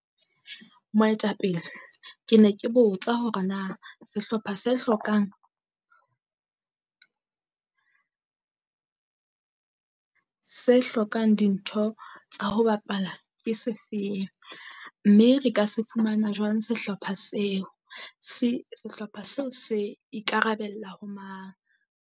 Moetapele ke ne ke botsa hore na sehlopha se hlokang se hlokang dintho tsa ho bapala ke se feng? Mme re ka se fumana jwang sehlopha seo? Se sehlopha seo se ikarabella ho mang?